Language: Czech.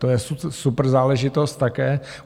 To je super záležitost také.